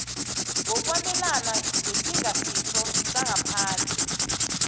wokwabelana ngesingasitho sangaphandle